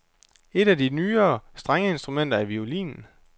Et af de nyere strengeinstrumenter er violinen.